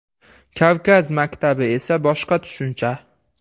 Kavkaz maktabi esa boshqa tushuncha.